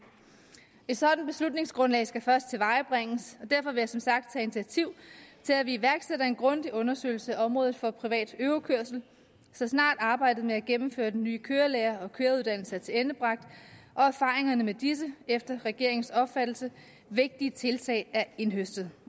et sådant beslutningsgrundlag skal først tilvejebringes og derfor vil jeg som sagt tage initiativ til at vi iværksætter en grundig undersøgelse af området for privat øvekørsel så snart arbejdet med at gennemføre den nye kørelærer og køreuddannelse er tilendebragt og erfaringerne med disse efter regeringens opfattelse vigtige tiltag er indhøstet